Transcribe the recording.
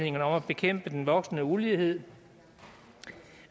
bekæmpe den voksende ulighed